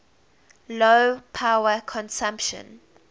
low power consumption